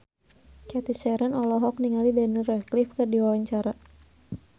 Cathy Sharon olohok ningali Daniel Radcliffe keur diwawancara